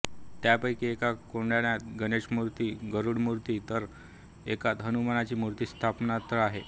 त्यापैकी एका कोनाडात गणेशमूर्ती गरूडमूर्ती तर एकात हनुमानची मूर्ती स्थानापन्न आहे